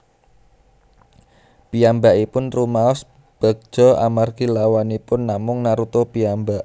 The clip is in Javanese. Piyambakipun rumaos begja amargi lawanipun namung Naruto piyambak